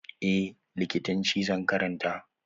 Eh, likitanci zan karanta.